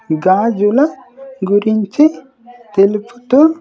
గాజుల గురించి తెలుపుతూ.